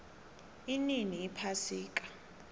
inini iphasika